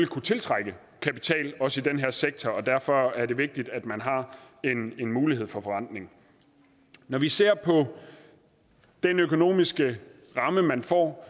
kunne tiltrække kapital også i den her sektor og derfor er det vigtigt at man har en mulighed for forrentning når vi ser på den økonomiske ramme man får